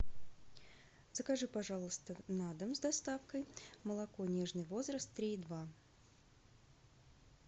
закажи пожалуйста на дом с доставкой молоко нежный возраст три и два